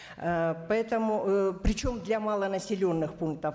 ыыы поэтому ыыы причем для малонаселенных пунктов